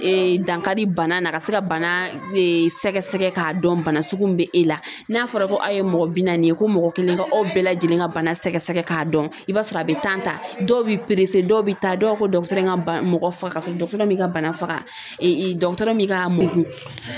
dankari bana na ka se ka bana sɛgɛsɛgɛ k'a dɔn bana sugu min bɛ e la n'a fɔra ko a ye mɔgɔ bi naani ye ko mɔgɔ kelen ka aw bɛɛ lajɛlen ka bana sɛgɛsɛgɛ k'a dɔn i b'a sɔrɔ a bɛ ta , dɔw bɛ dɔw bɛ taa, dɔw b'a fɔ ko dɔgɔtɔrɔ bana mɔgɔ faga ka sɔrɔ dɔgɔtɔrɔ m'i ka bana faga dɔgɔtɔrɔ m'i ka